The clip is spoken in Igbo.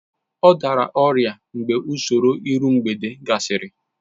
Ọ dara ọrịa mgbe usoro iru mgbede gasịrị